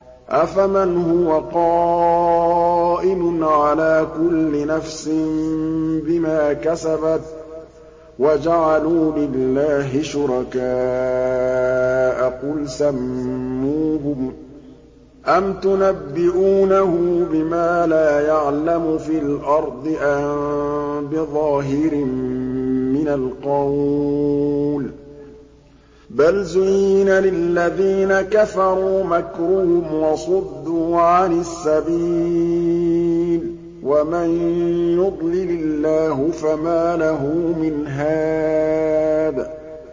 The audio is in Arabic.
أَفَمَنْ هُوَ قَائِمٌ عَلَىٰ كُلِّ نَفْسٍ بِمَا كَسَبَتْ ۗ وَجَعَلُوا لِلَّهِ شُرَكَاءَ قُلْ سَمُّوهُمْ ۚ أَمْ تُنَبِّئُونَهُ بِمَا لَا يَعْلَمُ فِي الْأَرْضِ أَم بِظَاهِرٍ مِّنَ الْقَوْلِ ۗ بَلْ زُيِّنَ لِلَّذِينَ كَفَرُوا مَكْرُهُمْ وَصُدُّوا عَنِ السَّبِيلِ ۗ وَمَن يُضْلِلِ اللَّهُ فَمَا لَهُ مِنْ هَادٍ